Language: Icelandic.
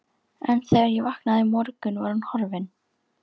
En þegar ég vaknaði í morgun var hún horfin.